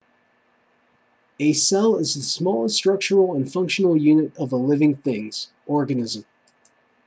a cell is the smallest structural and functional unit of a living things organism